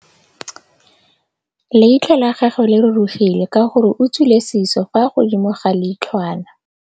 Leitlhô la gagwe le rurugile ka gore o tswile sisô fa godimo ga leitlhwana.